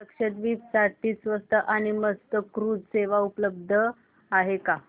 लक्षद्वीप साठी स्वस्त आणि मस्त क्रुझ सेवा उपलब्ध आहे का